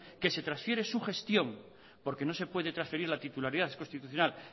que se transfiere su gestión porque no se puede transferir la titularidad es constitucional